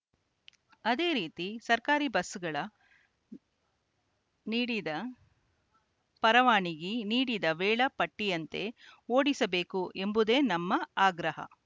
ಅದೇ ರೀತಿ ಸರ್ಕಾರಿ ಬಸ್‌ಗಳ ನೀಡಿದ ಪರವಾನಿಗಿ ನೀಡಿದ ವೇಳಾ ಪಟ್ಟಿಯಂತೆ ಓಡಿಸಬೇಕು ಎಂಬುದೇ ನಮ್ಮ ಆಗ್ರಹ